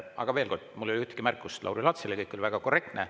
Aga veel kord, mul ei ole ühtegi märkust Lauri Laatsile, kõik oli väga korrektne.